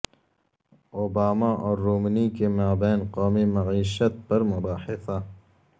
Obama اور Romney کے مابین قومی معیشت پر مباحثہ